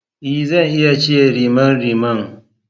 Ee! Zan iya cire rimariman.